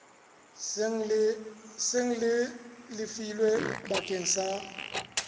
seng le lefilwe bakeng sa